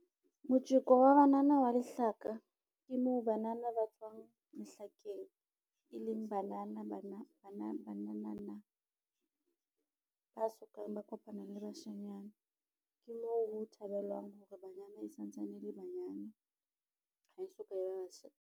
Motjeko wa banana wa lehlaka ke moo banana ba tswang lehlakeng e leng banana banana ba sokang ba kopana le bashanyana, ke moo ho thabelwang hore banyana e santsane e le banyane ha e soka e ba basotho.